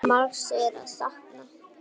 Margs er að sakna.